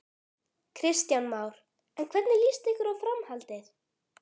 Kristján Már: En hvernig líst ykkur á framhaldið?